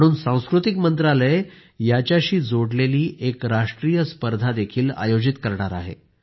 म्हणून सांस्कृतिक मंत्रालय याच्याशी जोडलेली एक राष्ट्रीय स्पर्धा आयोजित करणार आहे